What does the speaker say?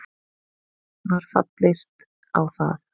Var fallist á það